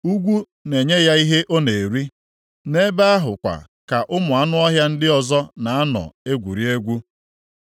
Ugwu na-enye ya ihe ọ na-eri. Nʼebe ahụ kwa ka ụmụ anụ ọhịa ndị ọzọ na-anọ egwuri egwu.